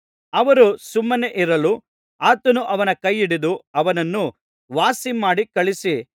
ಅವರು ಸುಮ್ಮನೇ ಇರಲು ಆತನು ಅವನ ಕೈ ಹಿಡಿದು ಅವನನ್ನು ವಾಸಿಮಾಡಿ ಕಳುಹಿಸಿ